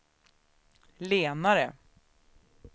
lenare